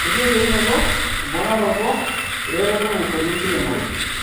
Ketii eyieunoto emponaroto eretoto naishori enkiremore.